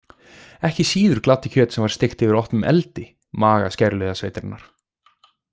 Ekki síður gladdi kjöt sem var steikt yfir opnum eldi maga skæruliðasveitarinnar.